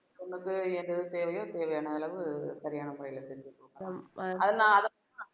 பொண்ணுக்கு எது எது தேவையோ தேவையான அளவு சரியான முறையில செஞ்சு கொடுக்கிறோம் அதுல